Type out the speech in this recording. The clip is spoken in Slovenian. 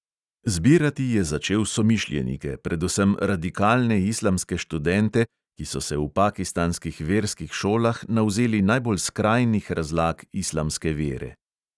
Zbirati je začel somišljenike, predvsem radikalne islamske študente, ki so se v pakistanskih verskih šolah navzeli najbolj skrajnih razlag islamske vere.